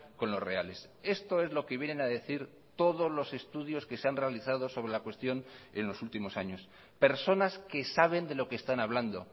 con los reales esto es lo que vienen a decir todos los estudios que se han realizado sobre la cuestión en los últimos años personas que saben de lo que están hablando